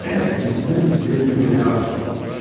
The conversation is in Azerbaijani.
Məyər gizlidən gizliyə Dunyaya aşiq olmuş.